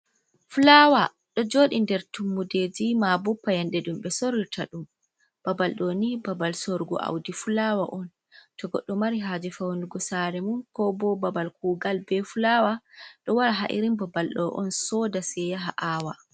Fulawa ɗo joɗi nder tummuɗeji ma payanɗe ɗum ɓe sorirta ɗum babal doni, babal sorugo audi fulawa on, to goɗɗo mari haje faunugu sare mum, ko bo babal kugal be fulawa ɗo wara ha irin babal ɗo on soda sei yaha awa.